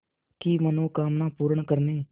की मनोकामना पूर्ण करने